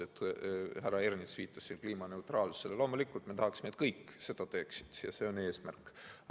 Härra Ernits viitas siin kliimaneutraalsusele ja loomulikult me tahame, et kõik selle jaoks midagi teeksid, see on eesmärk.